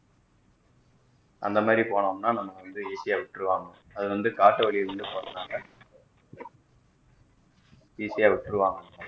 அந்த மாறி போனோம்னா நமக்கு வந்து easy யா விட்டுருவாங்க அது வந்து காட்டு வழியில வந்து போறதுனால easy விட்ருவாங்க